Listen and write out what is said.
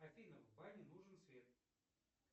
афина в бане нужен свет